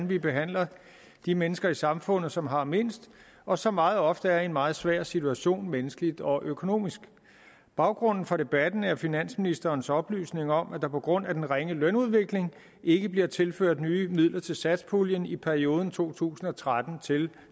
vi behandler de mennesker i samfundet som har mindst og som meget ofte er i en meget svær situation menneskeligt og økonomisk baggrunden for debatten er finansministerens oplysninger om at der på grund af en ringe lønudvikling ikke bliver tilført nye midler til satspuljen i perioden to tusind og tretten til